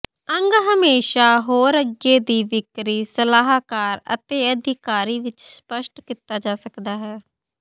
ਅੰਗ ਹਮੇਸ਼ਾ ਹੋਰ ਅੱਗੇ ਦੀ ਵਿਕਰੀ ਸਲਾਹਕਾਰ ਅਤੇ ਅਧਿਕਾਰੀ ਵਿਚ ਸਪੱਸ਼ਟ ਕੀਤਾ ਜਾ ਸਕਦਾ ਹੈ